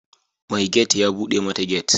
Mai gate ya bude mata gate.